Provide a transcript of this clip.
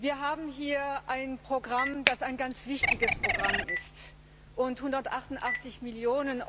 Wir haben hier ein Programm, das ein ganz wichtiges Programm ist. Und 188 Mio.